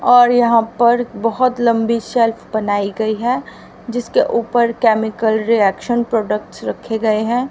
और यहां पर बहुत लंबी सेल्फ बनाई गई है जिसके ऊपर केमिकल रिएक्शन प्रोडक्ट रखे गए हैं।